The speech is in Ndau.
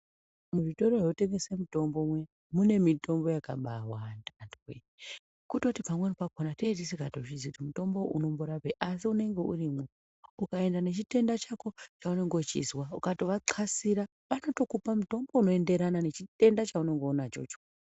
Muzvitoro zvinotengesa mitombo muya mune mitombo yakabaawanda antu woye. Kutoti pamweni pakhona tenge tisingatozii kuti mutombo uyu unorapei asi unenge urimwo. Ukatoenda nechitenda chako chaunenge uchizwa ukatovathwasira vanotokupa mutombo unenge weienderana nechitenda chaunenge unacho ichocho.